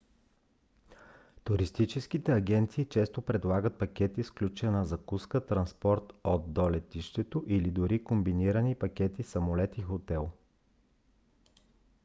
туристическите агенции често предлагат пакети с включени закуска транспорт от/до летището или дори комбинирани пакети самолет и хотел